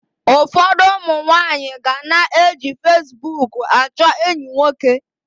Ụfọdụ ụmụ nwaanyị ga na-eji fasibuuku achọ enyi nwoke.